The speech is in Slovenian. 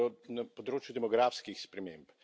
na področju demografskih sprememb.